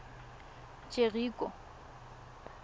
jeriko